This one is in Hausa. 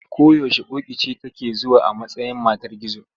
Ko yaushe ƙoƙi ce take zuwa a matsayin matar gizo.